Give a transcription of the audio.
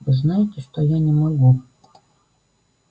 вы знаете что я не могу